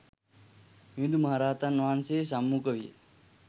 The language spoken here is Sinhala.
මිහිඳු මහරහතන් වහන්සේ සම්මුඛ විය.